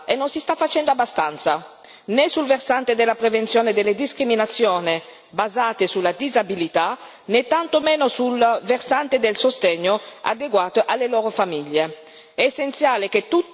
Ma non si sta facendo abbastanza né sul versante della prevenzione delle discriminazioni basate sulla disabilità, né tanto meno sul versante del sostegno adeguato alle loro famiglie.